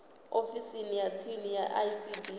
ofisini ya tsini ya icd